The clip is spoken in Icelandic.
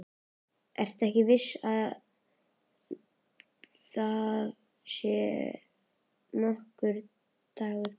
Ekki ertu þess verður að þér sé nokkur dagur gefinn.